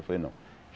Eu falei, não.